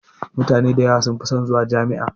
Mutane da yawa sun fi son zuwa Jami'a.